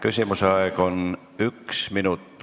Küsimuse aeg on üks minut.